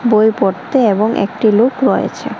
বই পড়তে এবং একটি লোক রয়েছে।